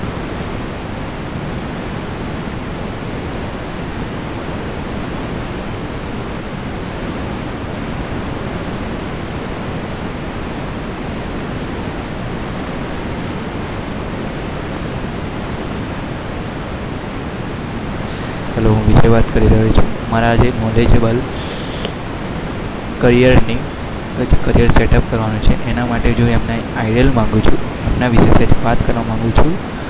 Hello હું વિજય વાત કરી રહ્યો છું.